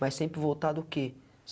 Mas sempre voltar do quê?